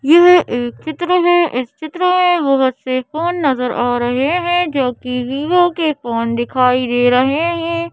यह एक चित्र है इस चित्र में बहुत से फोन नजर आ रहे हैं जो कि वीवोके फोन दिखाई दे रहे हैं।